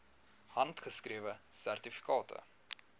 handgeskrewe sertifikate